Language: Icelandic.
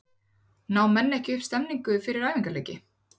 Ná menn ekki upp stemningu fyrir æfingaleiki?